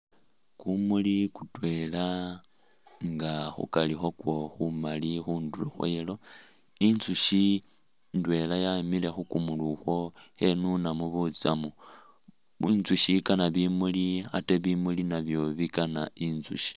Kumuli kutwela nga khukari khwako khumali khundulo khwa yellow, inzusyi ndwela yemile khu kumuli ukhwo khenunamu butsamu. Inzusyi ikana bimuli ate bimuli nabyo bikana inzusyi.